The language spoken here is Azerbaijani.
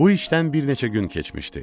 Bu işdən bir neçə gün keçmişdi.